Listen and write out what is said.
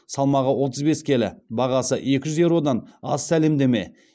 салмағы отыз бес келі бағасы екі жүз еуродан аз сәлемдеме